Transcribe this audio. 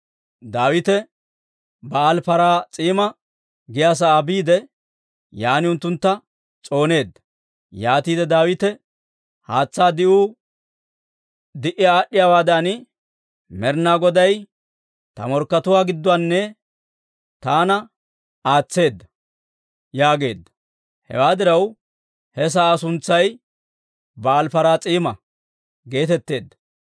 Daawite Ba'aali-Paraas'iima giyaa sa'aa biide, yaan unttuntta s'ooneedda. Yaatiide Daawite, «Haatsaa di'uu d'uussi aad'd'iyaawaadan Med'inaa Goday ta morkkatuwaa gidduwaanna taana aatseedda» yaageedda. Hewaa diraw, he sa'aa suntsay Ba'aali-Paraas'iima geetetteedda.